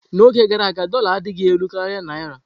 N'oge gara aga, dórla adịghị elu karịa Naira.